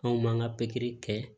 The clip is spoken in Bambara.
Anw m'an ka pikiri kɛ